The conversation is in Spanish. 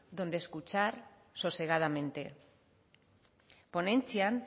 donde escuchar sosegadamente ponentzia